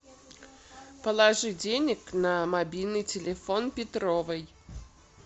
положи денег на мобильный телефон петровой